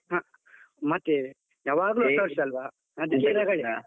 ಹಾ, ಮತ್ತೆ ಹೊಸ ವರ್ಷ ಅಲ್ವಾ ರಗಳೆ.